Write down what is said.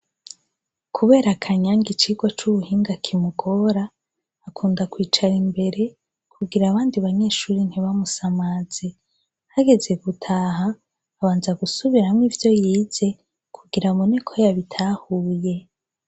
Kubera Kanyange icigwa c'ubuhinga kimugora akunda kwicara imbere kugira abandi banyeshure ntibamusamaze, hageze gutaha abanza gusubiramwo ivyo yize kugira abone ko yabitahuye.